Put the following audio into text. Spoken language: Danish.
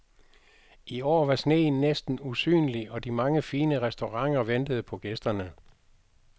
I år var sneen næsten usynlig og de mange fine restauranter ventede på gæsterne.